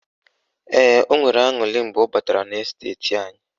Ee, o nwere aṅurị mgbe ọ batara n' esteti anyị